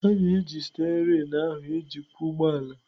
A na-eji steerin ahụ ejikwa ụgbọ ala.